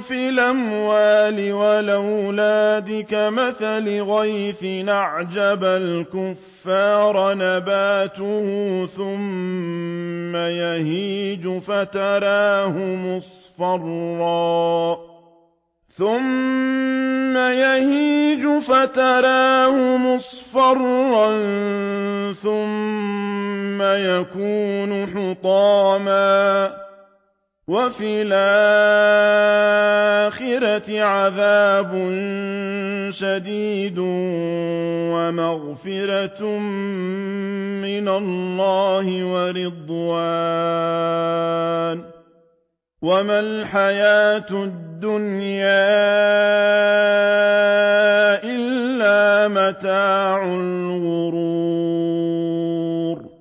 فِي الْأَمْوَالِ وَالْأَوْلَادِ ۖ كَمَثَلِ غَيْثٍ أَعْجَبَ الْكُفَّارَ نَبَاتُهُ ثُمَّ يَهِيجُ فَتَرَاهُ مُصْفَرًّا ثُمَّ يَكُونُ حُطَامًا ۖ وَفِي الْآخِرَةِ عَذَابٌ شَدِيدٌ وَمَغْفِرَةٌ مِّنَ اللَّهِ وَرِضْوَانٌ ۚ وَمَا الْحَيَاةُ الدُّنْيَا إِلَّا مَتَاعُ الْغُرُورِ